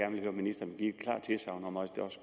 vil høre ministeren give et klart tilsagn om også